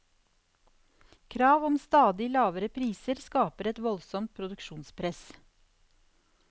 Krav om stadig lavere priser skaper et voldsomt produksjonspress.